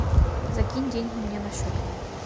закинь деньги мне на счет